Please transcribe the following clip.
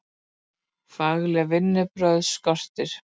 Fagleg vinnubrögð skortir